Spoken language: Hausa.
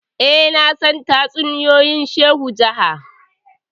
eh nasan tatsuniyoyin shehu jaha